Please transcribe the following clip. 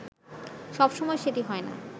সবসময় সেটি হয় না